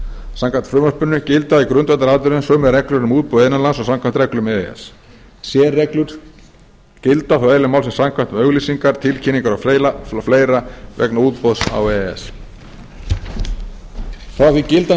samkvæmt frumvarpinu gilda í grundvallaratriðum sömu reglur um útboð innan lands og samkvæmt reglum e e s sérreglur gilda þó eðli málsins samkvæmt um auglýsingar tilkynningar og fleiri vegna útboðs á e e s frá því að gildandi lög númer